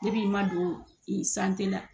i ma don i la